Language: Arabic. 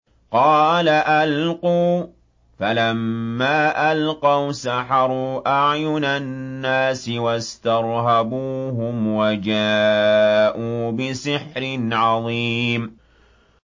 قَالَ أَلْقُوا ۖ فَلَمَّا أَلْقَوْا سَحَرُوا أَعْيُنَ النَّاسِ وَاسْتَرْهَبُوهُمْ وَجَاءُوا بِسِحْرٍ عَظِيمٍ